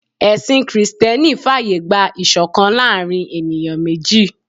Ẹ̀sìn Kristẹni fàyè gba ìṣọ̀kan láàárín ènìyàn méjì